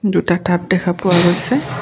দুটা টাব দেখা পোৱা গৈছে।